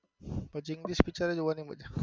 પછી english picture જોવની મજા આવે.